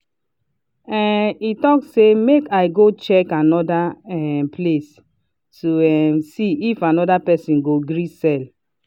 um he talk say “make i go check another um place” to um see if another person go gree sell.